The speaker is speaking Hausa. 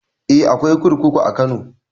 Eh akwai kurkuku a kano